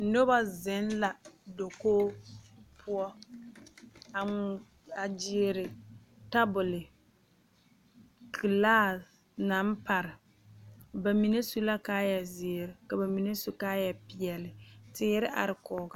Noba zeŋ la dakogi poɔ a gyeere tabole gilaase naŋ pare ba mine su la kaayɛzeere ka ba mine su kaayɛpeɛle teere are kɔge.